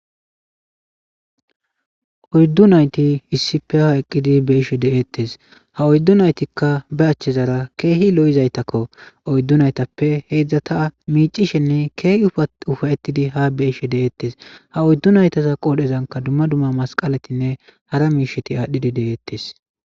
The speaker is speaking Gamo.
Oydu nayti ispe eqidi be'ishe detes ha oydu naytika be achezara kehi lo'zaytako oydu naytape heezati mic'ishene kehi ufaytidi be'ishe detes ha oydu naytaza qorezanka duma duma Masqaletine hara mishati adhidi de'etes.